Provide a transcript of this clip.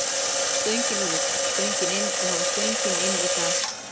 Stöngin út, stöngin inn og það var stöngin inn í dag.